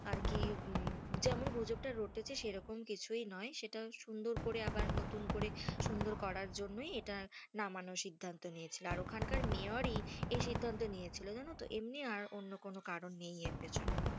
আর কি যেমন গুজবটা রটেছে সেরকম কিছুই নয়, সেটা সুন্দর করে আবার নুতুন করে সুন্দর করার জন্যই ইটা নামানোর সিদ্ধান্ত নিয়েছে, আর ওখান কার মেয়র ই এই সিদ্ধান্ত নিয়েছিল জানো তো এমনি আর অন্য কোনো কারণ নেই এর পেছনে,